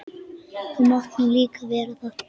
Þú mátt nú líka vera það.